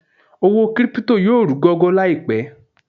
Owó crypto yóò rú gọ́gọ́ láìpẹ̀